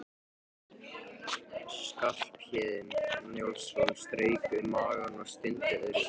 Skarphéðinn Njálsson strauk um magann og stundi öðru sinni.